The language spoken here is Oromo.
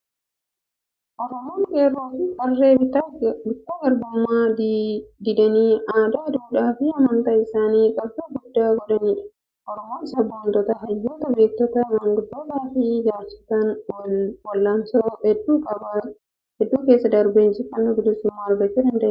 Oromoon qeerroo fi qarree bittaa garbummaa didanii aadaa, duudhaa fi amantii isaaniif qabsoo guddaa godhanidha. Oromoon sabboontota, hayyoota, beektota, maanguddootaa fi jaarsotaan wal'aansoo hedduu keessa darbee injifannoo bilisummaa argachuu danda'eera!